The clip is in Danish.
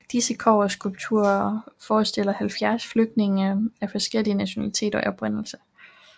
Disse kobberskulpturer forestiller 70 flygtninge af forskellig nationalitet og oprindelse